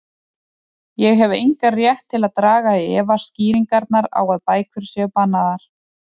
Ég hef engan rétt til að draga í efa skýringarnar á að bækur séu bannaðar.